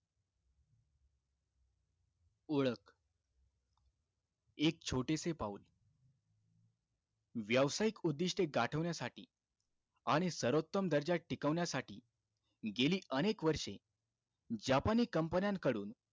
ओळख, एक छोटेसे पाऊल. व्यवसायिक उद्दिष्टे गाठवण्यासाठी आणि सर्वोत्तम दर्जा टिकवण्यासाठी, गेली अनेक वर्षे जापानी company कडून,